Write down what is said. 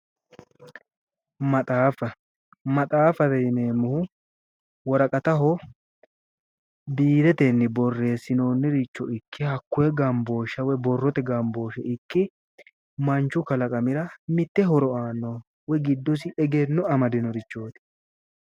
Maxaaffa, maxaaffate yinneemmohu worqattaho biiretenni borreessinoniricho ikke koye borrote gambooshe ikke manchu kalaqamira mite horo aanoho woyi giddosi egenno amadinorichooti